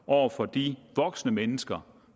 over for de voksne mennesker